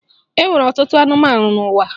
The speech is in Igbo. E nwere ọtụtụ anụmanụ n'ụwa.